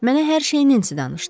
Mənə hər şeyini dedi danışdı.